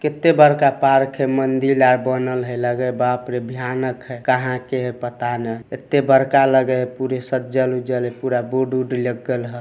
केते बड़का पार्क है मंदिर ला बनल हई लगे बाप रे भयानक है। कहाँ के है पता न | एते बड़का लग है पुरे सज्जल वज्ज्ल है पूरा बोर्ड उर्ड लगल हई।